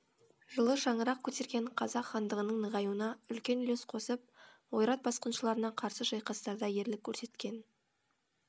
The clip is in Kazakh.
жылы шаңырақ көтерген қазақ хандығының нығаюына үлкен үлес қосып ойрат басқыншыларына қарсы шайқастарда ерлік көрсеткен